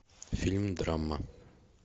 фильм драма